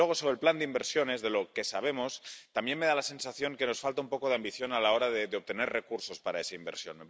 Y luego, sobre el plan de inversiones, de lo que sabemos me da la sensación de que nos falta un poco de ambición a la hora de obtener recursos para esa inversión.